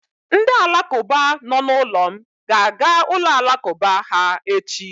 Ndị Alakụba nọ n'ụlọ m ga-aga ụlọ Alakụba ha echi.